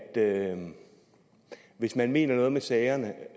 det hvis man mener noget med sagerne